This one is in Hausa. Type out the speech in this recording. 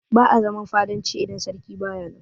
Ba'a zaman fadanci idan sarki baya nan.